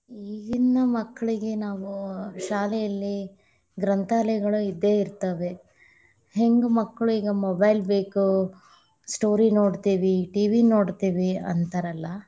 ಈಗೀನ ಮಕ್ಕಳಿಗೆ ನಾವು ಶಾಲೆಯಲ್ಲಿ ಗ್ರಂಥಾಲಯಗಳು ಇದ್ದೇ ಇತಾ೯ವೆ, ಹೆಂಗ್‌ ಮಕ್ಳು ಈಗ mobile ಬೇಕು, story ನೋಡ್ತೇವಿ, TV ನೋಡ್ತೇವಿ, ಅಂತಾರಲ್ಲಾ.